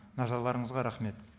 назарларыңызға рахмет